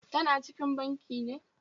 Tana cikin banki ne?